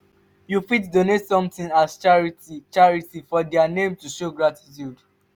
you fit donate something as charity charity for their name to show gratitude